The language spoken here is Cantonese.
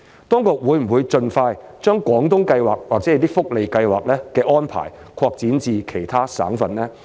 當局會否盡快將廣東計劃或者一些福利計劃的安排，擴展至其他省份呢？